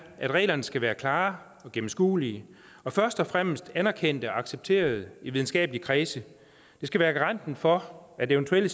at reglerne skal være klare og gennemskuelige og først og fremmest anerkendte og accepterede i videnskabelige kredse det skal være garanten for at eventuelle